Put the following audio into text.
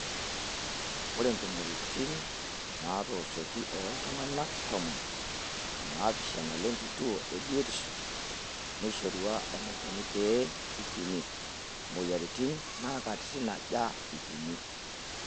Ore ntumoritin naaatooshoki oltungana tomon o naapishana lenkituo e biotisho neishorua eneikoni pee eipimi moyiaritin naa katititn aja eipimi.